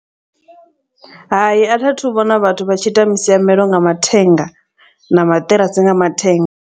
Hai a tha thu vhona vhathu vha tshi ita misiamelo nga mathenga na maṱirasi nga mathenga.